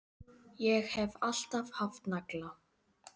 Ég hef alltaf haft nagla.